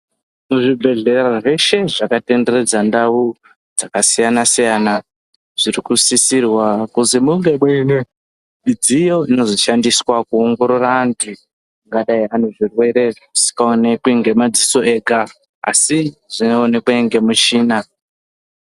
Muzvibhedhleya zveshe zvakatenderedza ndau dzakasiyana-siyana, zviri kusisirwa kuti munge muine midziyo inozooshandiswa kuongorora anthu angadai ane zvirwere zvisingaonekwi ngemadziso ega, asi zvinoonekwe ngemichina.